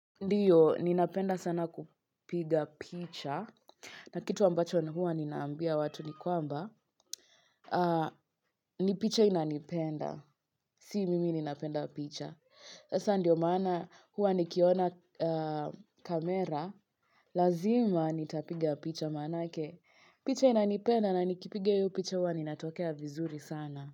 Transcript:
Ndiyo, ninapenda sana kupiga picha na kitu ambacho hua ninaambia watu ni kwamba ni picha inanipenda, si mimi ninapenda picha Sasa ndio maana huwa nikiona kamera Lazima nitapiga picha maanake picha inanipenda na nikipiga hiyo picha huwa ninatokea vizuri sana.